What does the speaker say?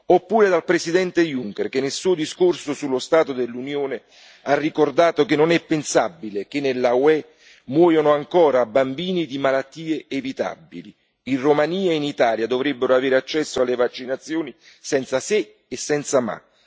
Oppure dal Presidente Juncker che, nel suo discorso sullo stato dell'Unione, ha ricordato che non è pensabile che nell'UE muoiano ancora bambini di malattie evitabili in Romania e in Italia, dovrebbero avere accesso alle vaccinazioni senza se e senza ma.